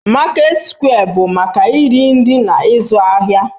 Market square bụ maka iri nri na ịzụ ahịa